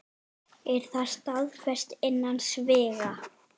Er það staðfest innan sviga?